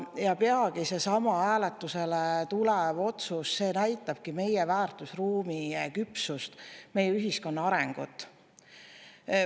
Ja peagi seesama hääletusele tulev otsus näitabki meie väärtusruumi küpsust, meie ühiskonna arengut.